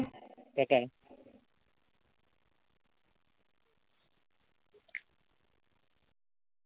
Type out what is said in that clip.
একাই।